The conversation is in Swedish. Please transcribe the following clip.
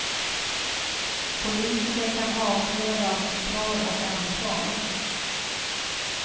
Politiker kan avkrävas svar och ansvar.